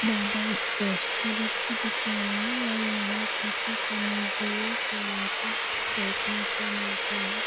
Madhav stationery की दुकान हैं और यहाँ पे कुछ हमें जिओ के आइटम्स देखने को मिलते हैं।